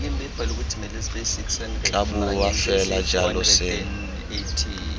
tla boa fela jalo seno